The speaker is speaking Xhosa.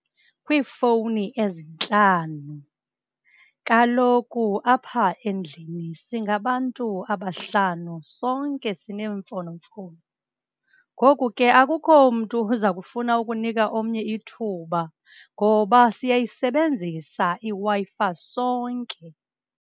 Kwiifowuni ezintlanu, kaloku apha endlini singabantu abahlanu, sonke sineemfonomfono. Ngoku ke akukho mntu uza kufuna ukunika omnye ithuba ngoba siyayisebenzisa iWi-Fi sonke.